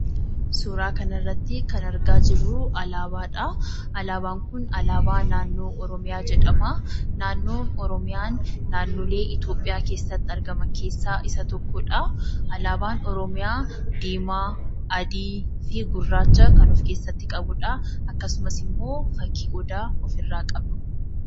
Suuraa kana irratti kan argaa jirru alaabaadha. Alaabaan kun alaabaa naannoo Oromiyaa jedhamaa. Naannoon Oromiyaa naannoo Itoophiyaa keessatti argaman keessaa isa tokkodha. Alaabaan Oromiyaa diimaa, adiifi gurraacha kan ofkeessatti qabudha. Akkasumas ammoo fakkii Odaa ofirraa qaba,